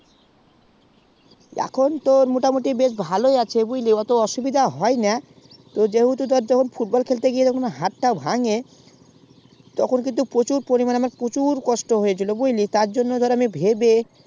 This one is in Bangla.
এখন তোর মোটা মুটি বেশ ভালই আছে বুজলি অটো অসুবিধা হয়না যেহেতু যখন football খেলতে গিয়েও যখন হাতটা ভেঙে তখন আমার প্রচুর পরিমানে খুব কষ্ট হয়েছিল তার জন্য আমি ভেবে